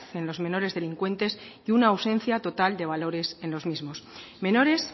en los menores delincuentes y una ausencia total de valores en los mismos menores